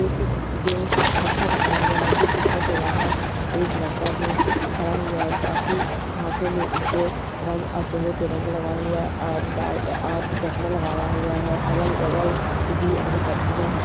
एक जो गुफा बना हुआ हे जो गुफा के बाहर एक लड़का जो खड़ा हुआ है काफी हाथों में ये रंग और चहरे पे रंग लगा हुआ है और ला और चश्मा लगाया हुआ है और अगल बगल भी हरी पत्तियां है।